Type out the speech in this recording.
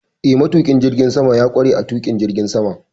Eh, matuƙin jirgin sama ya ƙware a tuƙin jirgin sama.